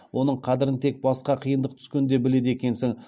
оның қадірін тек басқа қиындық түскенде біледі екенсің